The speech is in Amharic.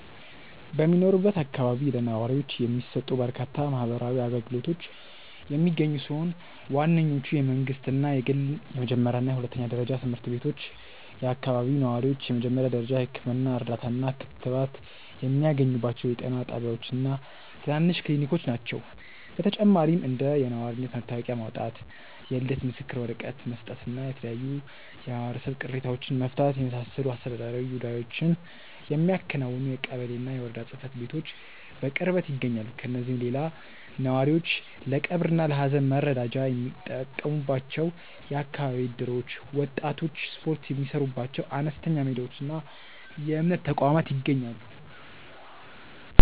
በሚኖርበት አካባቢ ለነዋሪዎች የሚሰጡ በርካታ ማህበራዊ አገልግሎቶች የሚገኙ ሲሆን፣ ዋነኞቹ የመንግሥትና የግል የመጀመሪያና ሁለተኛ ደረጃ ትምህርት ቤቶች፣ የአካባቢው ነዋሪዎች የመጀመሪያ ደረጃ የሕክምና እርዳታና ክትባት የሚያገኙባቸው የጤና ጣቢያዎችና ትናንሽ ክሊኒኮች ናቸው። በተጨማሪም እንደ የነዋሪነት መታወቂያ ማውጣት፣ የልደት ምስክር ወረቀት መስጠትና የተለያዩ የማህበረሰብ ቅሬታዎችን መፍታትን የመሳሰሉ አስተዳደራዊ ጉዳዮችን የሚያከናውኑ የቀበሌና የወረዳ ጽሕፈት ቤቶች በቅርበት ይገኛሉ። ከእነዚህም ሌላ ነዋሪዎች ለቀብርና ለሐዘን መረዳጃ የሚጠቀሙባቸው የአካባቢ እደሮች፣ ወጣቶች ስፖርት የሚሠሩባቸው አነስተኛ ሜዳዎችና የእምነት ተቋማት ይገኛሉ።